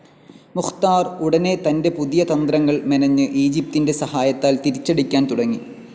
മുഖ്താർ ഉടനെ തന്റെ പുതിയ തന്ത്രങ്ങൾ മെനഞ്ഞ് ഈജിപ്തിന്റെ സഹായത്താൽ തിരിച്ചടിക്കാൻ തുടങ്ങി.